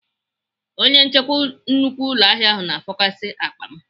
Onye nchekwa nnukwu ụlọahịa ahụ na-afọkasị akpa m.